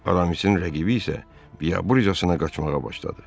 Aramisin rəqibi isə biabırçasına qaçmağa başladı.